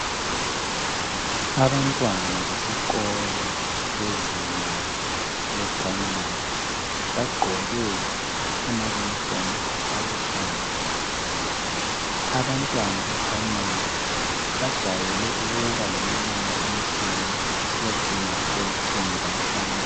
abantwana besikolo abezinga laseprimary bagqoke ama uniform aluhlaza abantwana ku primary bajwayele ukuba leminyaka emihlanu kusiyacina elitshumi lanhlanu